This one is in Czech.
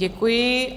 Děkuji.